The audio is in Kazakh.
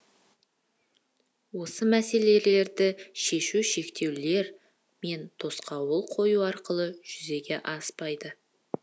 осы мәселелерді шешу шектеулер мен тосқауыл қою арқылы жүзеге аспайды